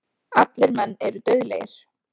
Allir menn eru dauðlegir.